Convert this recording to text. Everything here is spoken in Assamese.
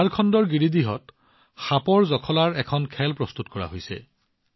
ঝাৰখণ্ডৰ গিৰিদিহত সাপৰ জখলাৰ এখন খেল প্ৰস্তুত কৰা হৈছে